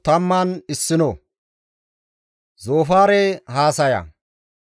Na7imaane dere as Zoofaarey hizgides;